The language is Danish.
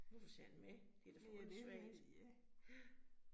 Hvorfor skal I have den med, det da for åndssvagt, ja